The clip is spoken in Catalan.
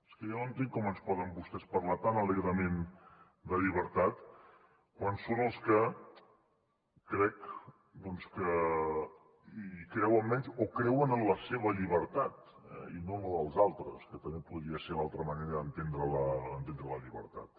és que jo no entenc com ens poden parlar tan alegrement de llibertat quan són els que crec que hi creuen menys o creuen en la seva llibertat i no en la dels altres que també podria ser l’altra manera d’entendre la llibertat